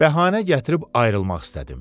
Bəhanə gətirib ayrılmaq istədim.